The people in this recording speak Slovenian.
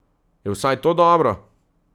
Je vsaj to dobro?